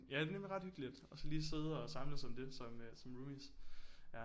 Ja det er nemlig ret hyggeligt og så lige sidde og samles om det som øh som roomies ja